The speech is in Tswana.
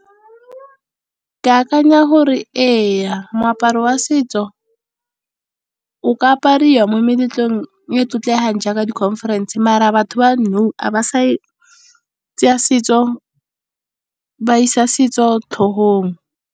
Ke akanya gore ee, moaparo wa setso o ka apariwa mo meletlong e e tlotlegang jaaka di conference. Mara a batho ba nou ga ba sa isa setso tlhogong.